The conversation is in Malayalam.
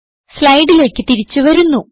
സ്ലൈഡിലേക്ക് തിരിച്ചു വരുന്നു